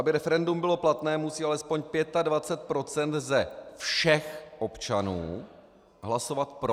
Aby referendum bylo platné, musí alespoň 25 % ze všech občanů hlasovat pro.